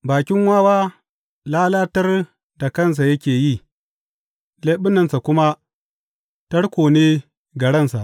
Bakin wawa lalatar da kansa yake yi leɓunansa kuma tarko ne ga ransa.